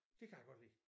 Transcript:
Dét kan jeg godt lide